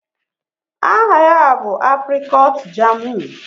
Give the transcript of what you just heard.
Aha ya bụ aprịkọọt jaamụ.